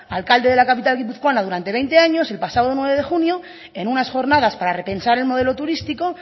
alcalde la capital guipuzcoana durante veinte años el pasado nueve de junio en unas jornadas para repensar el modelo turístico